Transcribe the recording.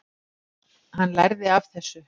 Hann lærði af þessu.